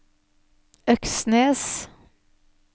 Øksnes